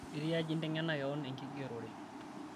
ketiaji inteng'ena kewan enkigerore